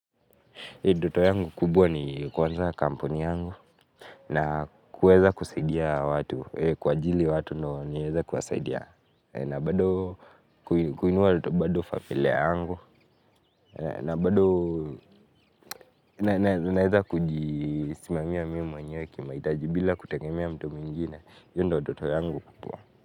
Ndoto yangu kubwa ni kuanza kampuni yangu na kuweza kusaidia watu kuajiri watu ndo niweze kuwasaidia na bado kuinua tu bado familia yangu na bado naeza kujisimamia mimi mwenyewe kimahitaji bila kutengemea mtu mwingine iyo ndio ndoto yangu kubwa.